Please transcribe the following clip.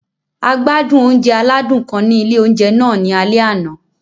A gbádùn oúnjẹ aládùn kan ni ilé oúnjẹ náà ní alẹ́ àná.